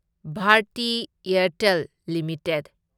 Bharti Airtel limited